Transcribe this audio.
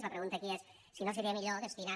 la pregunta aquí és si no seria millor destinar